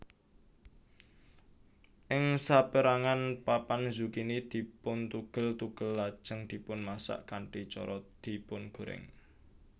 Ing saperangan papan zukini dipuntugel tugel lajeng dipunmasak kanthi cara dipungorèng